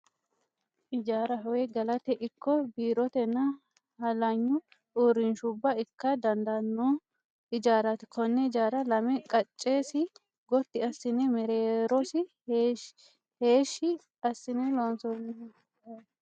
Ijaaraho woy galate ikko biirotenna hallanya uurrinshubbara ikka dandaanno ijaraati. Konne ijaara lame qaccesi gotti assine mereerosi heeshshi assine loonsoonniho.